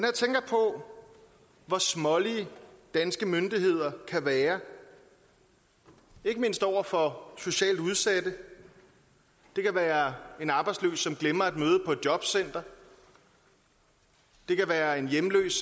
hvor smålige danske myndigheder kan være over for ikke socialt udsatte det kan være en arbejdsløs der glemmer at møde på et jobcenter det kan være en hjemløs